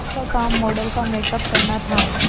उसका काम मॉडल का मेकअप करना था